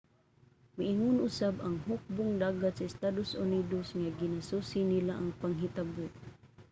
miingon usab ang hukbong-dagat sa estados unidos nga ginasusi nila ang panghitabo